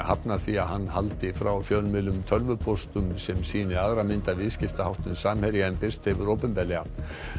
hafnar því að hann haldi frá fjölmiðlum tölvupóstum sem sýni aðra mynd af viðskiptaháttum Samherja en birst hefur opinberlega